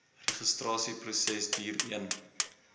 registrasieproses duur een